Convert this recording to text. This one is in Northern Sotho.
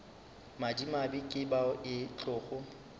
madimabe ke bao e tlogo